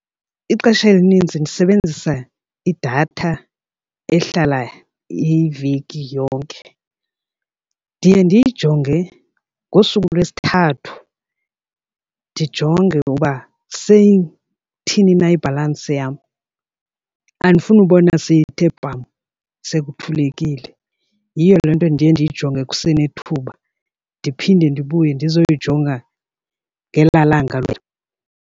Ixesha elininzi ndisebenzisa idatha ehlala iveki yonke, ndiye ndiyijonge ngosuku lwesithathu ndijonge uba seyithini na ibhalansi yam. Andifuni ukubona seyithe pam sekuthulekile. Yiyo le nto ndiye ndiyijonge kusenethuba ndiphinde ndibuye ndizoyojonga ngelaa langa .